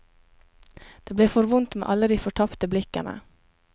Det ble for vondt med alle de fortapte blikkene.